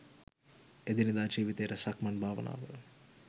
එදිනෙදා ජීවිතයට සක්මන් භාවනාව